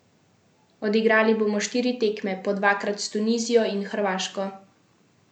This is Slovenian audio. Odigrali bomo štiri tekme, po dvakrat s Tunizijo in Hrvaško.